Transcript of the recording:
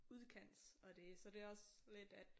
Udkants og det så det også lidt at